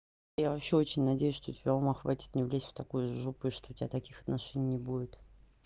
я вообще очень надеюсь что тебя ума хватит не влезть в такую жопу и что у тебя таких отношений не будет